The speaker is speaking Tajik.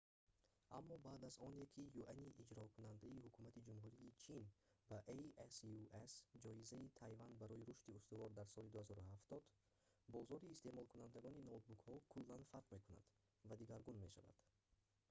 аммо баъд аз оне ки юани иҷрокунандаи ҳукумати ҷумҳурии чин ба asus ҷоизаи тайван барои рушди устувор дар соли 2007 дод бозори истеъмолкунандагони ноутбукҳо куллан фарқ мекунад ва дигаргун мешавад